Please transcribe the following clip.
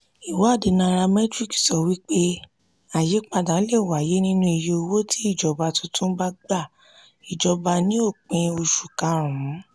iwadii nairametrics sọ wípé àyípadà lè wáyé nínú iye owó tí ìjọba tuntun bá gba ìjọba ní òpin oṣù karùn-ún.